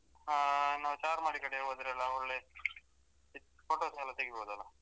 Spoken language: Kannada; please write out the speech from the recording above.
ಹ್ಮ ನಾವ್ ಚಾರ್ಮಾಡಿ ಕಡೆಲ್ಲ ಹೋದ್ರೆ ಒಳ್ಳೆ photos ಎಲ್ಲ ತೆಗಿಬೋದಲ್ಲ.